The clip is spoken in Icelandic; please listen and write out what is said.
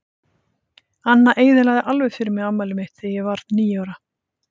Anna eyðilagði alveg fyrir mér afmælið mitt þegar ég varð níu ára.